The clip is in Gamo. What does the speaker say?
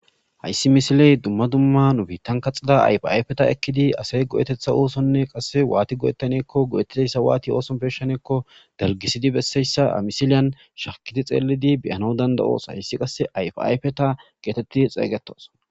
hayssi misiley dumma dumma nubiittan kaxida aypiayfeta ekkidi asay go7etetha oosonne qasse waati go7ettaneekko go7ettidayssa waati ooson peshaneekko dargisidi besseyssa amisiliyan shakiti xeelidi beyano danda7oos hayssi qasse aypiayfeta geetetti xeeygetoos